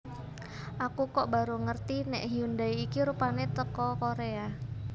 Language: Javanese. Aku kok baru ngerti nek Hyundai iki rupane teko Korea